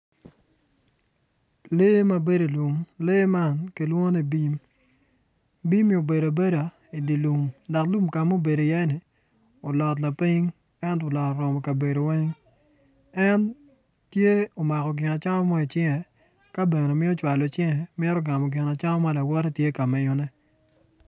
Lee ma bedo i lum lee man kilwongo ni bim bim-mi obedo abeda idye lum dok lum ka ma obedo iyeni olkot lapiny ento olot oromo kabedo weng en tye omako gin acama mo icinge ka bene mito cwalo cinge mito gamo gin ma lawote tye k miyone.